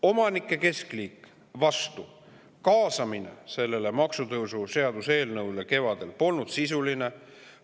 Omanike keskliit oli vastu, sest selle maksutõusu seaduseelnõu puhul polnud kaasamine kevadel sisuline.